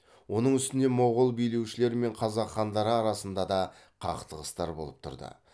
оның үстіне моғол билеушілері мен қазақ хандары арасында да қақтығыстар болып тұрды